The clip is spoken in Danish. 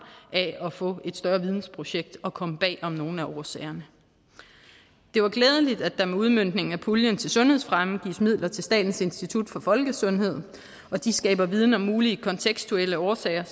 af at få et større vidensprojekt og komme bag om nogle af årsagerne det var glædeligt at der med udmøntningen af puljen til sundhedsfremme gives midler til statens institut for folkesundhed de skaber viden om mulige kontekstuelle årsager